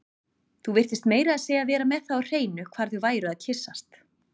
Þú virtist meira að segja vera með það á hreinu hvar þau væru að kyssast